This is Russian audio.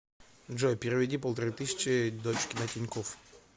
джой переведи полторы тысячи дочке на тинькофф